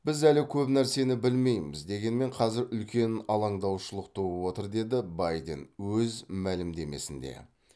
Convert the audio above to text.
біз әлі көп нәрсені білмейміз дегенмен қазір үлкен алаңдаушылық туып отыр деді байден өз мәлімдемесінде